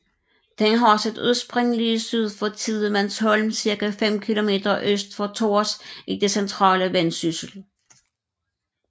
Den har sit udspring lige syd for Tidemandsholm cirka 5 kilometer øst for Tårs i det centrale Vendsyssel